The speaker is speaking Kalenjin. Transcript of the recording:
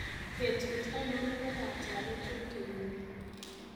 betut ainon nepo katwalet en kenyini